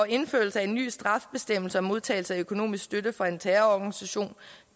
indførelse af en ny straffebestemmelse om modtagelse af økonomisk støtte fra en terrororganisation